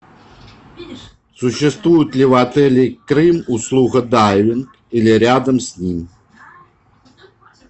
существует ли в отеле крым услуга дайвинг или рядом с ним